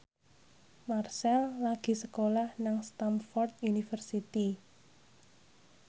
Marchell lagi sekolah nang Stamford University